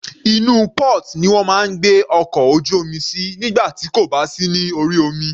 Inú port ni wọ́n máa ń gbé ọkọ̀ ojú omi sí nígbà tí kò bá sí ní orí omi.